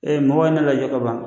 Ee mɔgɔw ye lajɔ kaban.